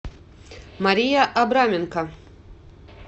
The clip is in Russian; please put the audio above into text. мария абраменко